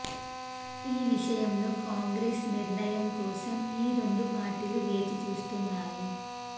ఈ విషయంలో కాంగ్రెస్ నిర్ణయం కోసం ఈ రెండు పార్టీలు వేచిచూస్తున్నాయి